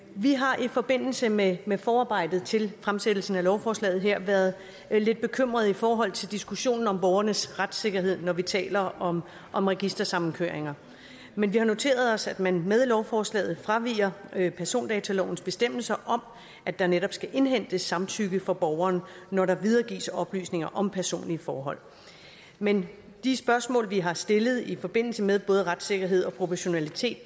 vi har i forbindelse med med forarbejdet til fremsættelsen af lovforslaget her været lidt bekymrede i forhold til diskussionen om borgernes retssikkerhed når vi taler om om registersamkøring men vi har noteret os at man med lovforslaget fraviger persondatalovens bestemmelser om at der netop skal indhentes samtykke fra borgeren når der videregives oplysninger om personlige forhold men de spørgsmål vi har stillet i forbindelse med både retssikkerhed og proportionalitet